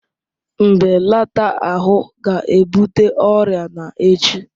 Mbelata ahụ ga-ebute ọrịa na echi